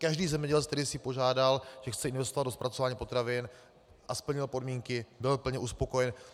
Každý zemědělec, který si požádal, že chce investovat do zpracování potravin a splnil podmínky, byl plně uspokojen.